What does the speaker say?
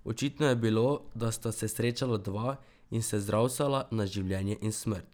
Očitno je bilo, da sta se srečala dva in se zravsala na življenje in smrt.